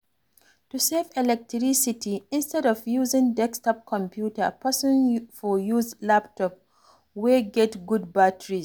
To save electricity, instead of using desktop computer, person for use laptop wey get good batteries